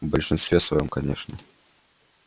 в большинстве своём конечно